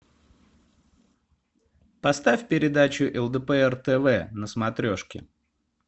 поставь передачу лдпр тв на смотрешке